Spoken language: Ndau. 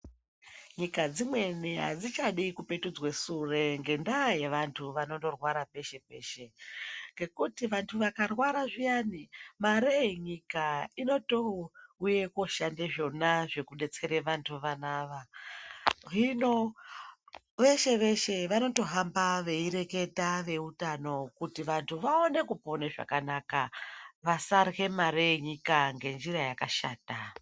Nyika dzimweni adzichadi kupetudzwe sure ngendaa yevantu anondorwara peshe peshe ngendaa yevanthu vakarwara zviyani mare yenyika inotouya koshanda zvona zvekudetsera vanthu vona avavo. Hino veshe veshe vanondohamba veireketa veutano kuti vanthu vapone ngenjira yakanaka kuti vasarye mare yenyika ngezviro zvakashata.